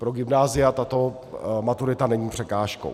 Pro gymnázia tato maturita není překážkou.